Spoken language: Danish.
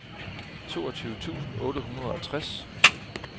toogtyve tusind otte hundrede og tres